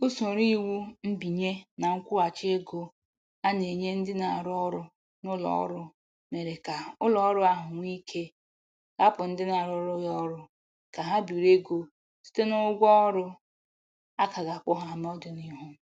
Usoro iwu mbinye na nkwụghachi ego a na-enye ndị na-arụ ọrụ n'ụlọ ọrụ mere ka ụlọ ọrụ ahụ nwee ike ghapụ ndị na-arụrụ ya ọrụ ka ha biri ego site n'ụgwọ ọrụ a ka ga-akwụ ha n'ọdịnihu.